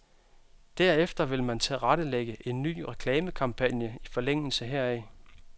Derefter vil man tilrettelægge en ny reklamekampagne i forlængelse heraf.